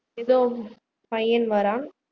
எதோ பையன் வர்றான்